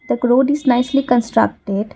the road is nicely constructed.